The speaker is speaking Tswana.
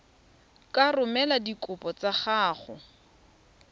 ka romela dikopo tsa gago